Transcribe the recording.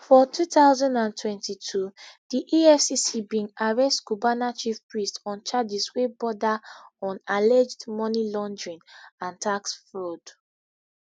for two thousand and twenty-two di efcc bin arrest cubana chief priest on charges wey border on alleged money laundering and tax fraud